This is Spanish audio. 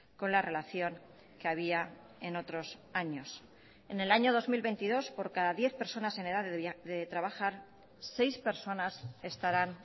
con la relación que había en otros años en el año dos mil veintidós por cada diez personas en edad de trabajar seis personas estarán